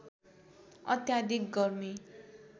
अत्याधिक गर्मी